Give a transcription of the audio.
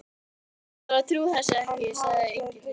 Ég bara trúi þessu ekki, sagði Engillinn, og